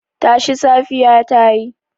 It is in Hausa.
Tashi, safiya ta yi.